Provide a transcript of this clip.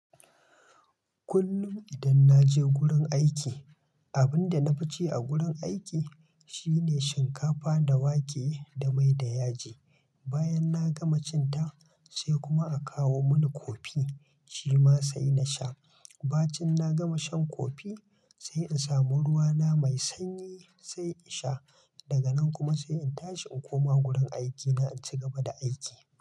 Kullum idan naje wurin aiki, abinda na fi ci a gurin aiki shine shinkafa da wake da mai da yaji. Bayan na gama cin ta sai kuma a kawo mani kofi, shi ma sai na sha. Bacin na gama shan kofi sai in samu ruwa na mai sanyi sai in sha. Daga nan kuma sai in tashi in koma wurin aikina in cigaba da aiki.